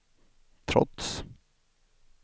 trots